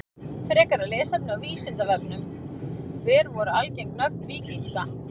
Frekara lesefni á Vísindavefnum: Hver voru algeng nöfn víkinga?